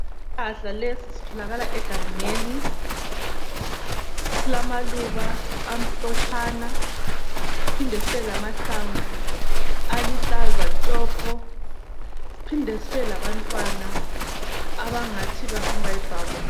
Isihlahla lesi sitholakala egangeni silamaluba amhlotshana siphinde sibe lamahlamvu aluhlaza tshoko siphinde sibe labantwana abangathi bafunukuba yibrown .